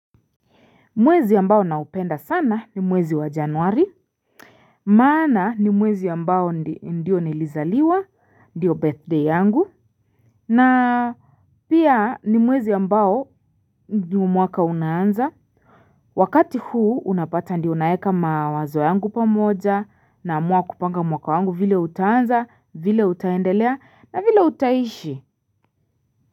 Mwezi ambao naupenda sana ni mwezi wa januari. Maana ni mwezi ambao ndio nilizaliwa, ndio birthday yangu. Na pia ni mwezi ambao ni mwaka unaanza. Wakati huu unapata ndio naeka mawazo yangu pamoja na amua kupanga mwaka wangu vile utaanza, vile utaendelea na vile utaishi.